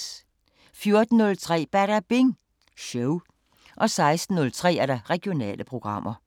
14:03: Badabing Show 16:03: Regionale programmer